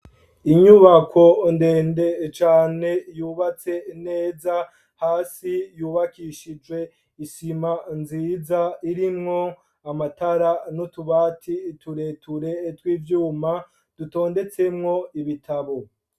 Inyubako ndende cane yubatse neza hasi yubakishije isima nziza irimwo amatara n'utubati tureture tw'ivyuma dutondetsemwo ibitabo.